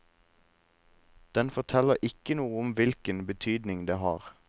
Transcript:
Den forteller ikke noe om hvilken betydning det har.